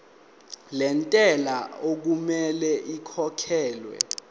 lentela okumele ikhokhekhelwe